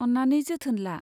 अन्नानै जोथोन ला।